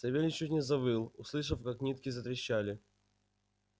савельич чуть не завыл услышав как нитки затрещали